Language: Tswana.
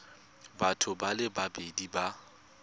batho ba le babedi ba